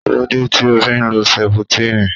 Kílódé tí o fi ń lo sẹputírínì?